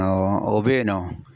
Awɔ o bɛ yen nɔ